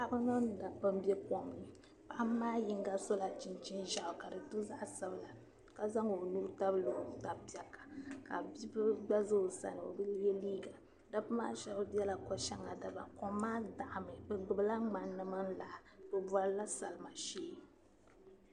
Paɣiba mini m-be kom ni paɣb maa yiŋa sola chinchini zɛɣu kadi be zaɣi sabila kazaŋ o nuu n tabili otapaɣa. ka bi bili gba. za o sani obi ye liiga. dabi shab bela ko shaŋa dabam. kom maa daɣimi. bi gbibi la ŋmani di mini laa bi bɔrila salima shee.